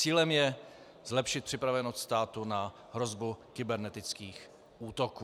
Cílem je zlepšit připravenost státu na hrozbu kybernetických útoků.